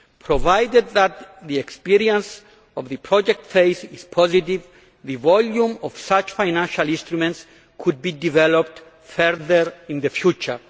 Provided that the experience of the project phase is positive, the volume of such financial instruments could be developed further in the future.